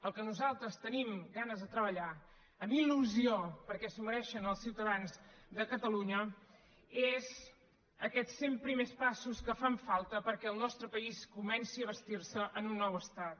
el que nosaltres tenim ganes de treballar amb illusió perquè s’ho mereixen els ciutadans de catalunya són aquests cent primers passos que fan falta perquè el nostre país comenci a bastir se en un nou estat